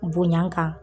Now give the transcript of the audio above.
Bonya kan